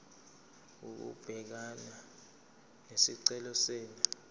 ukubhekana nesicelo senu